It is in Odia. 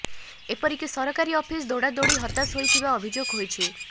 ଏପରିକି ସରକାରୀ ଅଫିସ ଦୌଡି ଦୌଡି ହତାଶ ହୋଇଥିବା ଅଭିଯୋଗ ହୋଇଛି